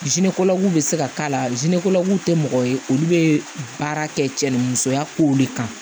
bɛ se ka k'a la tɛ mɔgɔ ye olu bɛ baara kɛ cɛ ni musoya kow de kan